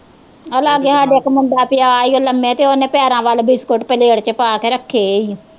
ਆ ਲਾਗੇ ਸਾਡੇ ਇੱਕ ਮੁੰਡੇ ਪਿਆ ਈ ਓ ਲਮੇ ਤੇ ਉਹਨੇ ਪੈਰਾਂ ਵਲ ਬਿਸਕੁਟ ਪਲੇਟ ਚ ਪਾਕੇ ਰੱਖੇ ਈ ਓ